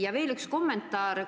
Ja veel üks kommentaar ...